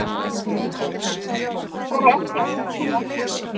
Eru ekki að búa til verðbólgu